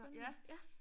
Jamen ja